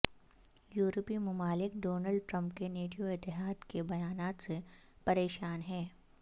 یورپی ممالک Donald Trump کے نیٹو اتحاد کے بیانات سے پریشان ہیں